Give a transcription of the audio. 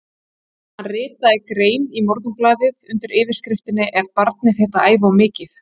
Hann ritaði grein í Morgunblaðið undir yfirskriftinni Er barnið þitt að æfa of mikið?